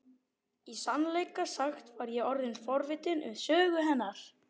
Í sannleika sagt var ég orðin forvitin um sögu hennar.